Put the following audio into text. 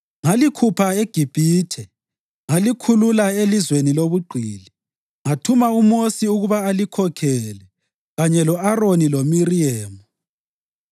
Ngalikhupha eGibhithe ngalikhulula elizweni lobugqili. Ngathuma uMosi ukuba alikhokhele kanye lo-Aroni loMiriyemu.